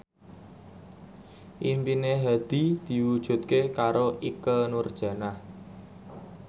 impine Hadi diwujudke karo Ikke Nurjanah